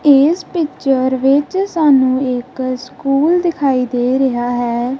ਇੱਸ ਪਿਕਚਰ ਵਿੱਚ ਸਾਨੂੰ ਇੱਕ ਸਕੂਲ ਦਿਖਾਈ ਦੇ ਰਿਹਾ ਹੈ।